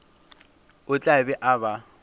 o tla be a ba